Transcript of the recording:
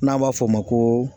N'an b'a fɔ o ma ko